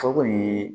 O kɔni